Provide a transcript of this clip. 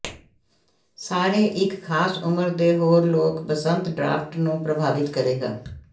ਸਾਰੇ ਇੱਕ ਖਾਸ ਉਮਰ ਦੇ ਹੋਰ ਲੋਕ ਬਸੰਤ ਡਰਾਫਟ ਨੂੰ ਪ੍ਰਭਾਵਿਤ ਕਰੇਗਾ